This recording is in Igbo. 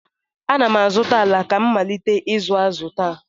Ana m azụta ala ka m malite ịzụ azụ taa.